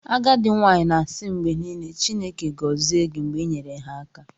Agadi nwanyi ga na-asi mgbe nile "Chineke gozie gi" mgbe i nyere ha aka "